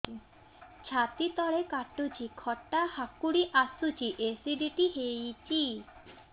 ଛାତି ତଳେ କାଟୁଚି ଖଟା ହାକୁଟି ଆସୁଚି ଏସିଡିଟି ହେଇଚି